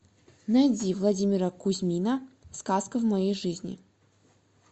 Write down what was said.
найди владимира кузьмина сказка в моей жизни